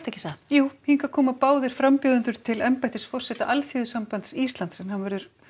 já hingað koma báðir frambjóðendur til embættis forseta Alþýðusambands Íslands hann verður